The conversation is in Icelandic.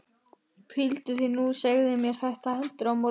Hvíldu þig nú og segðu mér þetta heldur á morgun.